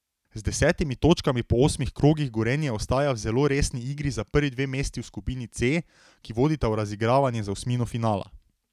Z desetimi točkami po osmih krogih Gorenje ostaja v zelo resni igri za prvi dve mesti v skupini C, ki vodita v razigravanje za osmino finala.